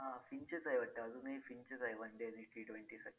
beauty वरचे सगळे product तुम्हाला मिळतील इथून